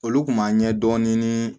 Olu kun b'a ɲɛ dɔɔni